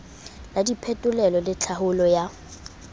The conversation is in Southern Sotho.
la diphetolelo le tlhaolo ya